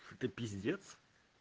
это пиздец